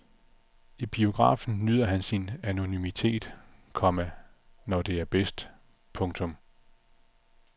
I biografen nyder han sin anonymitet, komma når det er bedst. punktum